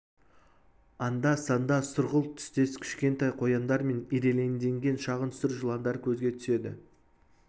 анда-санда сұрғылт түстес кішкентай қояндар мен ирелеңдеген шағын сұр жыландар көзге түседі